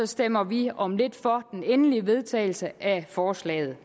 stemmer vi om lidt for den endelige vedtagelse af forslaget